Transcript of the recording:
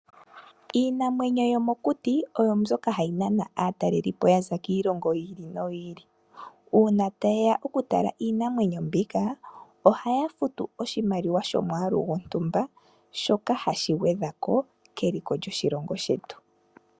Iinamwenyo yomokuti oyo mboka hayi nana aatalelipo ya za kiilongo yi Ili noyi ili. Uuna taye ya okutala iinamwenyo mbika, ohaya futu oshimaliwa shomwaalu gwontumba shoka hashi gwedhwa ko keliko lyoshilongo shetu.